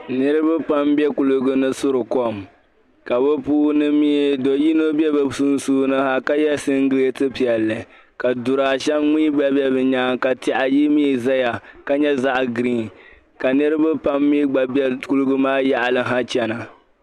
niriba pam n be kuligi puuni n suri kom ka bɛ puuni do so be bɛ sunsuuni ka ye singiliti piɛlli, ka dura ayi mini tihi be bɛ nyaaŋga ka nyɛ zaɣ' baŋkom, ka niriba pam ni gba be kuligi maa yaɣili chana.